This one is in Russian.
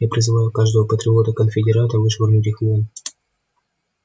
я призываю каждого патриота-конфедерата вышвырнуть их вон